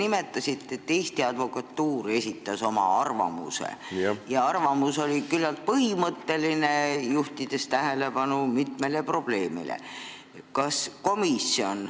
Te märkisite, et Eesti Advokatuur esitas oma arvamuse ja see arvamus oli küllalt põhimõtteline, juhtides tähelepanu mitmele probleemile.